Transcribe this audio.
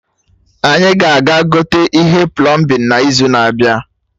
Anyị ga aga gote ihe plọmbin na izu na-abịa